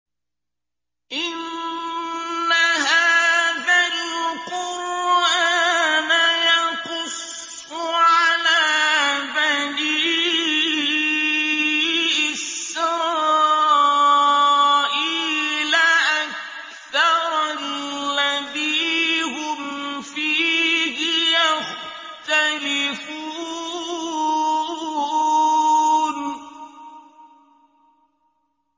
إِنَّ هَٰذَا الْقُرْآنَ يَقُصُّ عَلَىٰ بَنِي إِسْرَائِيلَ أَكْثَرَ الَّذِي هُمْ فِيهِ يَخْتَلِفُونَ